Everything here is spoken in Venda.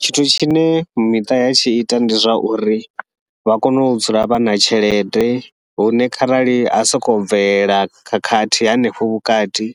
Tshithu tshine miṱa ya tshi ita ndi zwa uri vha kone u dzula vha na tshelede, hune kharali ha sokou bvelela khakhathi henefho vhukati